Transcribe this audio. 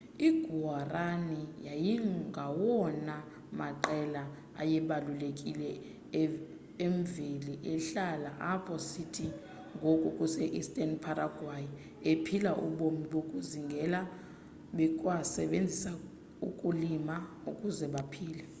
i guaraní yayingawona maqela ayebalulekile emveli ehlala apho sithi ngoku kuse eastern paraguay ephila ubomi bokuzingela bekwasebenzisa ukulima ukuze baphile